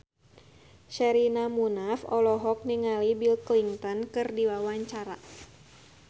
Sherina Munaf olohok ningali Bill Clinton keur diwawancara